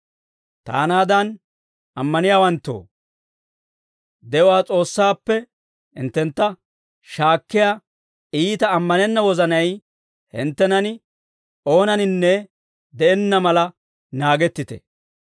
Taanaadan ammaniyaawanttoo, de'uwaa S'oossaappe hinttentta shaakkiyaa iita ammanenna wozanay hinttenan oonaninne de'enna mala naagettite.